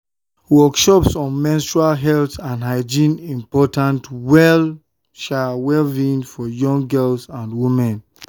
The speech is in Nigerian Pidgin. workshops on menstrual health and hygiene important well-well for young girls and women.